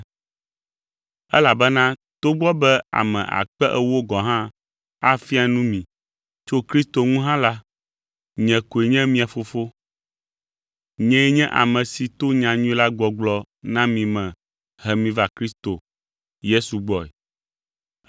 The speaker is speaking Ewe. Elabena, togbɔ be ame akpe ewo gɔ̃ hã afia nu mi tso Kristo ŋu hã la, nye koe nye mia fofo. Nyee nye ame si to nyanyui la gbɔgblɔ na mi me he mi va Kristo Yesu gbɔe.